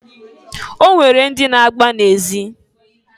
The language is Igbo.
O nwere ndị na-agba na ezi.